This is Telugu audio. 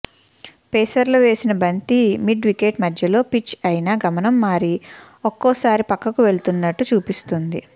పేసర్లు వేసిన బంతి మిడ్ వికెట్ మధ్యలో పిచ్ అయినా గమనం మారి ఒక్కోసారి పక్కకు వెళ్తున్నట్టు చూపిస్తోంది